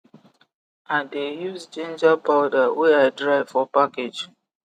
i de use ginger powder wey i dry for package